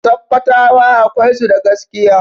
Sakkwatawa akwai su da gaskiya.